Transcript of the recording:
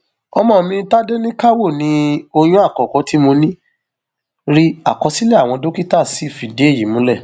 ọmọ mi tádéníkàwò ni oyún àkọkọ tí mo ní rí àkọsílẹ àwọn dókítà sì fìdí èyí múlẹ